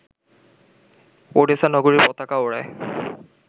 Odessa নগরীর পতাকা ওড়ায়